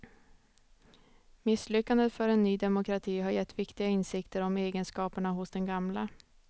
Misslyckandet för en ny demokrati har gett viktiga insikter om egenskaperna hos den gamla.